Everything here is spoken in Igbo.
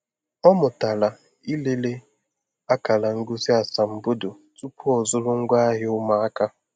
Ọ mụtala ilele akara ngosi asambodo tupu ọzụrụ ngwaahịa ụmụaka.